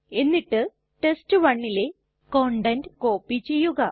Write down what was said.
എന്നിട്ട് test1ലെ content copy ചെയ്യുക